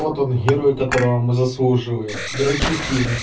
вот он герой которого мы заслуживаем драчефин